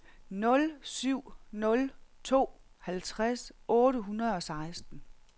nul syv nul to halvtreds otte hundrede og seksten